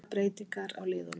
Engar breytingar á liðunum